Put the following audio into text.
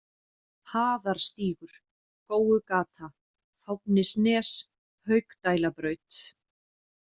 Haðarstígur, Góugata, Fáfnisnes, Haukdælabraut